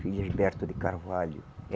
Felisberto de Carvalho.